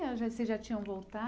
Vocês já tinham